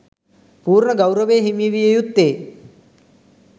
පූර්ණ ගෞරවය හිමි විය යුත්තේ